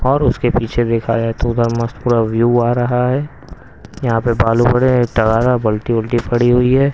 और उसके पीछे देखा जाए तो उधर मस्त पूरा व्यू आ रहा है यहां पे बालू पड़े टगारा बल्टी उल्टी पड़ी हुई है.